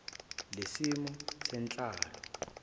h lesimo senhlalo